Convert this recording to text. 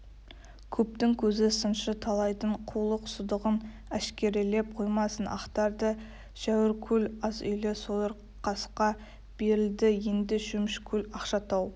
көптің көзі сыншы талайдың қулық-сұдығын әшкерелеп қоймасын ақтарды шәуіркөл аз үйлі сойырқасқа берілді енді шөмішкөл ақшатау